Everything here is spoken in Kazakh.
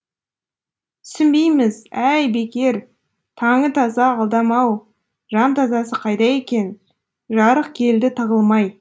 түсінбейміз әй бекер таңы таза адам ау жан тазасы қайда екен жарық келді тығылмай